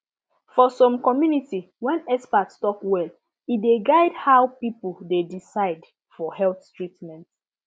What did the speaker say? for some community when expert talk well e dey guide how people dey decide for health treatment